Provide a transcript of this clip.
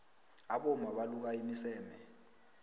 abomma baluka imiseme